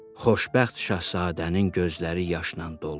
Xoşbəxt Şahzadənin gözləri yaşla dolmuşdu.